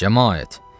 Camaət.